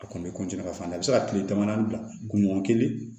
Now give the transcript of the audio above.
A kɔni ka f'an na i bɛ se ka tile damadamani bila gundo kelen